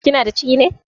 Kinada ciki ne?